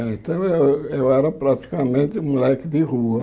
Então eu eu era praticamente moleque de rua.